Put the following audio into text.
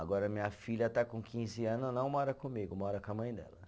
Agora minha filha tá com quinze anos, não mora comigo, mora com a mãe dela.